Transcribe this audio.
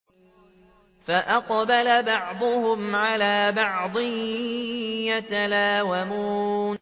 فَأَقْبَلَ بَعْضُهُمْ عَلَىٰ بَعْضٍ يَتَلَاوَمُونَ